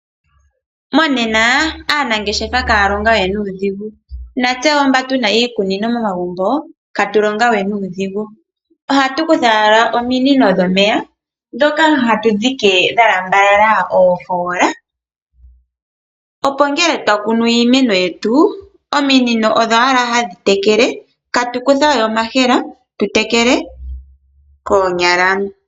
Monena aanangeshefa kaalonga we nuudhigu, natse woo mba tuna iikunino momagumbo katulonga we nuudhigu. Ohatu kutha owala ominino dhomeya, dhoka hatu dhike dhalambalala oofoola, opo ngele twakunu iimeno yetu, ominino odho owala hadhi tekele, katukutha we omahela tu tekele koonyala.